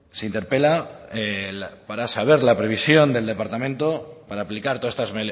se interpela para saber la previsión del departamento para aplicar todas estas